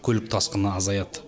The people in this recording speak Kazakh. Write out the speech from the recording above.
көлік тасқыны азаяды